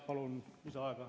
Palun lisaaega!